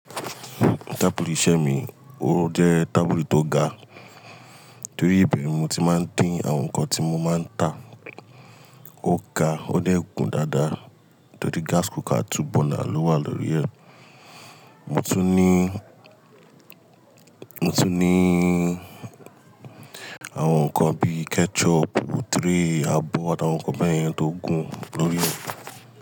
Tábùlù iṣẹ́ mi, ó jẹ́ tábùlù tó ga, torí ibẹ́ẹ̀ ni mo ti máa ń tẹ àwọn nǹkan tí mo máa ń tà. Ó ga, ó dẹ̀ gún dáadáa torí gas cooker two burner ló wà lórí rẹ̀. Mo tún ní, mo tún ní àwọn nǹkan bíi ketchup, tray, abọ́ àtàwọn nǹkan bẹ́ẹ̀ yẹn tó gùn lórí rẹ̀.